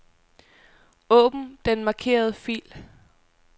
Åbn den markerede fil.